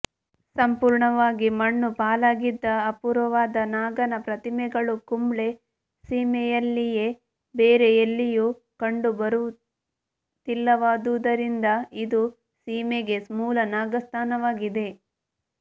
ಸಂಪೂರ್ಣವಾಗಿ ಮಣ್ಣು ಪಾಲಾಗಿದ್ದ ಅಪೂರ್ವವಾದ ನಾಗನ ಪ್ರತಿಮೆಗಳು ಕುಂಬ್ಳೆ ಸೀಮೆಯಲ್ಲಿಯೇ ಬೇರೆ ಎಲ್ಲಿಯೂ ಕಂಡುಬರುತ್ತಿಲ್ಲವಾದುದರಿಂದ ಇದು ಸೀಮೆಗೇ ಮೂಲನಾಗಸ್ಥಾನವಾಗಿದೆ